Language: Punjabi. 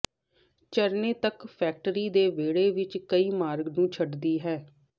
ਝਰਨੇ ਤੱਕ ਫੈਕਟਰੀ ਦੇ ਵਿਹੜੇ ਵਿਚ ਕਈ ਮਾਰਗ ਨੂੰ ਛੱਡਦੀ ਹੈ